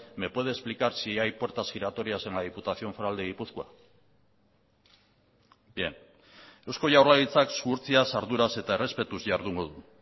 me puede explicar si hay puertas giratorias en la diputación foral de gipuzkoa bien eusko jaurlaritzak zuhurtziaz arduraz eta errespetuz jardungo du